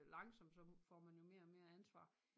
Langsom så får man jo mere og mere ansvar